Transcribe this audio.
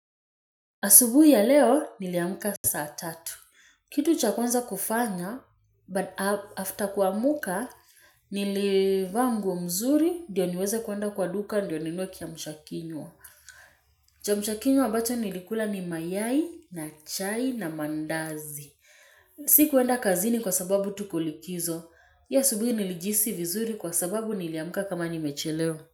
Asubuhi ya leo, niliamka saa tatu. Kitu cha kwanza kufanya, but after kuamka, nilivaa nguo mzuri, ndio niweze kuenda kwa duka, ndio ninunue kiamsha kinywa. Kiamshakinywa ambacho nilikula ni mayai, na chai, na mandazi. Sikuenda kazini kwa sababu tukulikizo. Hii asubuhi nilijihisi vizuri kwa sababu niliamka kama nimechelewa.